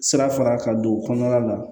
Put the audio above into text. Sira fara ka don o kɔnɔna la